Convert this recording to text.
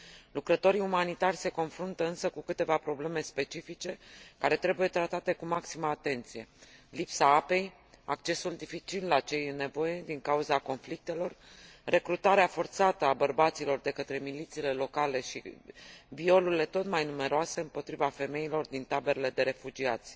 Lucrătorii umanitari se confruntă însă cu câteva probleme specifice, care trebuie tratate cu maximă atenție lipsa apei, accesul dificil la cei în nevoie, din cauza conflictelor, recrutarea forțată a bărbaților de către milițiile locale și violurile tot mai numeroase împotriva femeilor din taberele de refugiați.